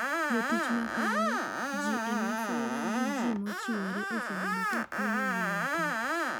Jo tich makonyo ji e masira gi ji machiwore osebedo ka kunyo gi lwetgi.